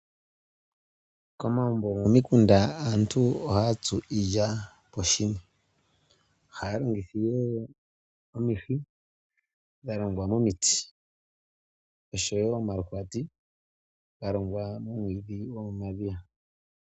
Komagumbo gokomikunda aantu ohaya tsu iilya poshini. Ohaya longitha ihe omihi dha longwa momiti osho wo omaluhwati ga longwa momwiidhi gomomadhiya.